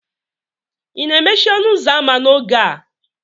ị na-emechi ọnụ ụzọ ámá n'oge a?